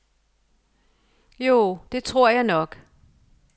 Jo, det tror jeg nok.